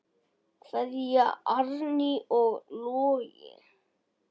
Kveðja, Árný og Logi.